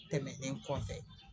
Tɛmɛnen kɔfɛ